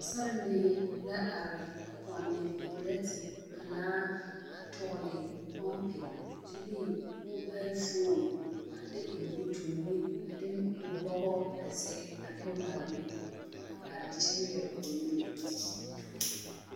Sarelee la are a pɔnne pɛrɛte pelaa a tɔgle pompi kyɛ de moobale fooni de eŋ o toori a de o bɔgɔ a zege a de mare ne a are kyɛ nyere o nyemɛ.